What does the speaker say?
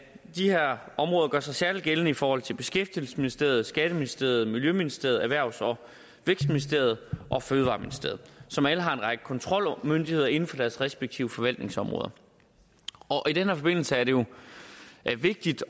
de her områder gør sig særlig gældende i forhold til beskæftigelsesministeriet skatteministeriet miljøministeriet erhvervs og vækstministeriet og fødevareministeriet som alle har en række kontrolmyndigheder inden for deres respektive forhandlingsområder i den her forbindelse er det jo vigtigt